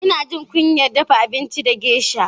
Yana jin kunyar dafa abinci da geisha.